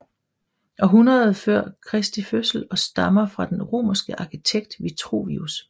Århundrede før Kristi fødsel og stammer fra den romerske arkitekt Vitruvius